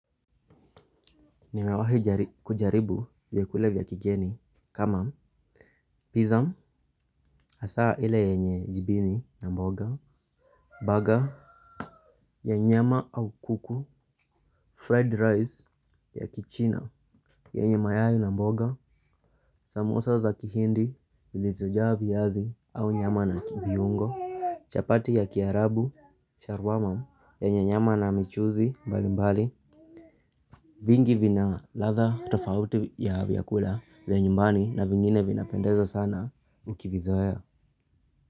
Ni mwawahi kujaribu vyekula vya kigeni. Kama Pizza Asaa ile yenye jibini na mboga Burger Ya nyama au kuku Fried rice ya kichina yenye mayai na mboga Samosa za kihindi zilizojaa viyazi au nyama na viungo Chapati ya kiarabu Sharwamam Yenye nyama na michuzi mbali mbali. Vingi vina ladha tofauti ya vyakula vya nyumbani na vingine vinapendeza sana ukivizoea.